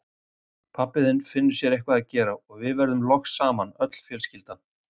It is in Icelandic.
Pabbi þinn finnur sér eitthvað að gera, og við verðum loks saman, öll fjölskyldan.